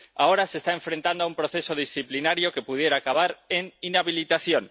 Ahora se está enfrentando a un proceso disciplinario que pudiera acabar en inhabilitación.